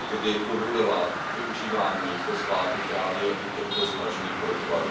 kdy povolila využívání fosfátu právě u těchto zmražených polotovarů.